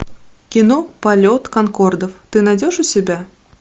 кино полет конкордов ты найдешь у себя